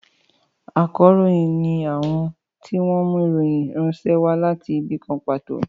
Ákàròyìn ni àwọn tí wọn mú ìròyìn ránṣẹ́ wá láti ibì kan pàtó